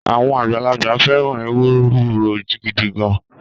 Àwọn àgbàlagbà fẹ́ràn ewuro gidi gan-an